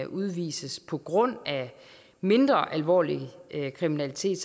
udvises på grund af mindre alvorlig kriminalitet